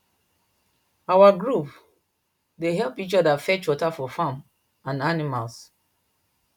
our group dey help each other fetch water for farm and animals